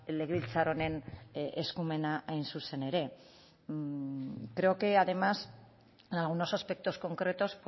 legebiltzar honen eskumena hain zuzen ere creo que además en algunos aspectos concretos